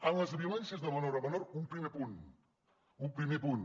amb les violències de menor a menor un primer punt un primer punt